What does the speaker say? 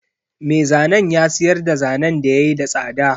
Me zanen ya siyarda zanen da yayi da tsada.